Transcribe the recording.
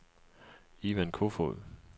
Ivan Koefoed